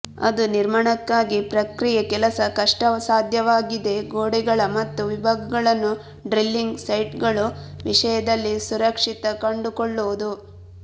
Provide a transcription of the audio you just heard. ಅದು ನಿರ್ಮಾಣಕ್ಕಾಗಿ ಪ್ರಕ್ರಿಯೆ ಕೆಲಸ ಕಷ್ಟಸಾಧ್ಯವಾಗಿದೆ ಗೋಡೆಗಳ ಮತ್ತು ವಿಭಾಗಗಳನ್ನು ಡ್ರಿಲ್ಲಿಂಗ್ ಸೈಟ್ಗಳು ವಿಷಯದಲ್ಲಿ ಸುರಕ್ಷಿತ ಕಂಡುಕೊಳ್ಳುವುದು